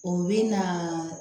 U bi na